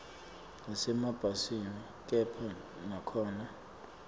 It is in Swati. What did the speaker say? nasemabhasini kepha nakhona